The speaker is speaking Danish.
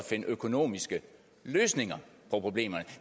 finde økonomiske løsninger på problemerne